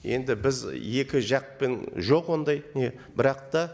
енді біз екі жақпен жоқ ондай не бірақ та